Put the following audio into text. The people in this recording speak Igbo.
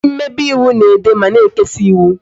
Ndị mmebe ịwụ na-ede ma na-ekesa ịwụ